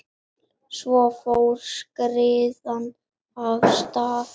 Svo fór skriðan af stað.